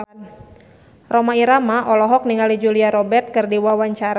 Rhoma Irama olohok ningali Julia Robert keur diwawancara